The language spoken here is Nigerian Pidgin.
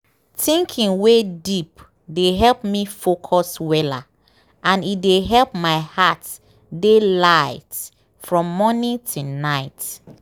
thinking wey deep dey help me focus weller and e dey help my heart dey light from morning till night.